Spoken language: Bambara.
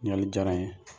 Ɲininkali diyara n ye